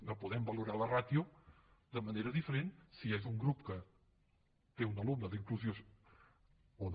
no podem valorar la ràtio de manera diferent si és un grup que té un alumne d’inclusió o no